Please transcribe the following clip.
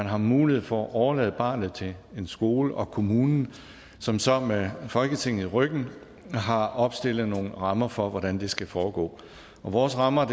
har mulighed for at overlade barnet til en skole og kommunen som så med folketinget i ryggen har opstillet nogle rammer for hvordan det skal foregå og vores rammer